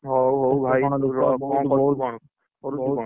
ହଉ ହଉ ଭାଇ କରୁଛ କଣ? କରୁଛ କଣ?